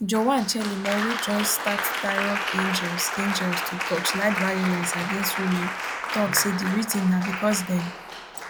joan chelimo wey join start tirops angels angels to torchlight violence against women tok say di reason na bicos dem